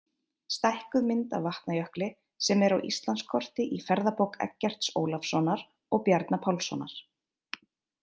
Stækkuð mynd af Vatnajökli sem er á Íslandskorti í ferðabók Eggerts Ólafssonar og Bjarna Pálssonar.